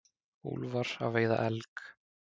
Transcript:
Úlfar að veiða elg.